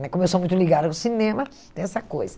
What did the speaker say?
né como eu sou muito ligada ao cinema, tem essa coisa.